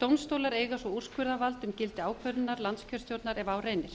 dómstólar eiga svo úrskurðarvald um gildi ákvörðunar landskjörstjórnar ef á reynir